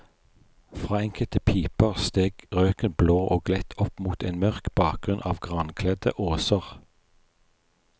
Fra enkelte piper steg røken blå og lett opp mot en mørk bakgrunn av grankledde åser.